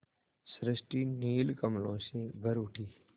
सृष्टि नील कमलों में भर उठी